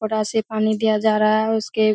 उपरा से पानी दिया जा रहा है। उसके --